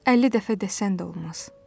50 dəfə desən də olmaz.